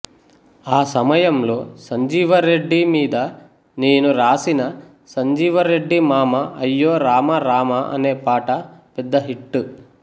ఆ సమయంలో సంజీవరెడ్డి మీద నేను రాసిన సంజీవరెడ్డి మామ అయ్యో రామరామ అనే పాట పెద్ద హిట్